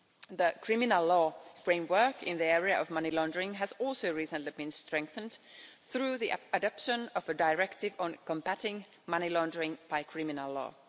The criminal law framework in the area of money laundering has also recently been strengthened through the adoption of a directive on combating money laundering by criminal law.